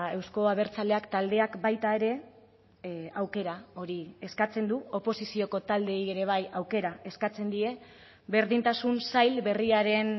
euzko abertzaleak taldeak baita ere aukera hori eskatzen du oposizioko taldeei ere bai aukera eskatzen die berdintasun sail berriaren